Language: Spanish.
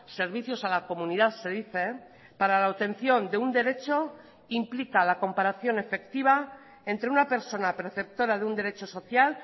servicios a la comunidad se dice para la obtención de un derecho implica la comparación efectiva entre una persona perceptora de un derecho social